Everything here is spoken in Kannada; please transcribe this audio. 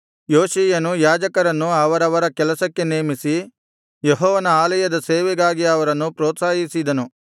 ಯೋಷೀಯನು ಯಾಜಕರನ್ನು ಅವರವರ ಕೆಲಸಕ್ಕೆ ನೇಮಿಸಿ ಯೆಹೋವನ ಆಲಯದ ಸೇವೆಗಾಗಿ ಅವರನ್ನು ಪ್ರೋತ್ಸಾಹಿಸಿದನು